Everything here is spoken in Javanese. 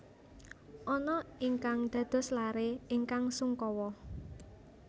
Anna ingkang dados laré ingkang sungkawa